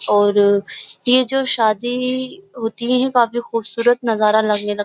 और यह जो शादी होती है काफी खूबसूरत नजारा लगने लग --